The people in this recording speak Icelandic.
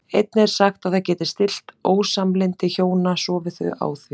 Einnig er sagt að það geti stillt ósamlyndi hjóna sofi þau á því.